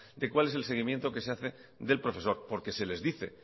de cuál es el seguimiento que se hace del profesor porque se les dice